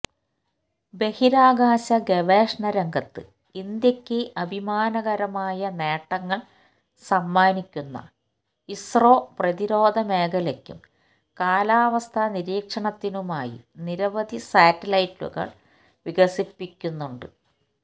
ബഹിരാകാശ ഗവേഷണ രംഗത്ത് ഇന്ത്യയ്ക്ക് അഭിമാനകരമായ നേട്ടങ്ങൾ സമ്മാനിക്കുന്ന ഇസ്രോ പ്രതിരോധ മേഖലയ്ക്കും കാലാവസ്ഥാ നിരീക്ഷണത്തിനുമായി നിരവധി സാറ്റലൈറ്റുകൾ വികസിപ്പിക്കുന്നുണ്ട്